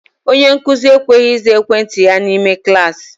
Onye nkụzi ekwesighi iza ekwentị ya n'ime kalasi